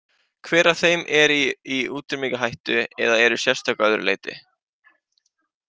Hver af þeim eru í útrýmingarhættu eða eru sérstök að öðru leyti?